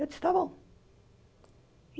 Eu disse tá bom.